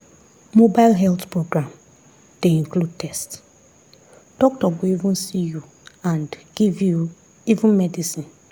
mobile health program dey include test doctor go even see you and give you even medicine.